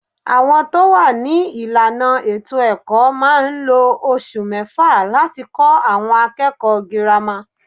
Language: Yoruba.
Àwọn tó wà ní ìlànà ètò-ẹ̀kọ́ máa ń lo oṣù mẹ́fà láti kó àwọn akẹ́kọ̀ọ́ girama.